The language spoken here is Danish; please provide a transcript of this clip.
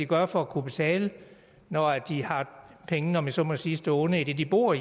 gøre for at kunne betale når de har pengene om jeg så må sige stående i det de bor